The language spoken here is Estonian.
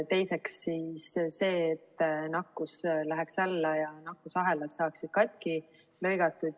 Teiseks see, et nakkus läheks alla ja nakkusahelad saaksid katki lõigatud.